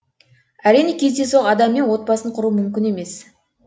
әрине кездейсоқ адаммен отбасын құру мүмкін емес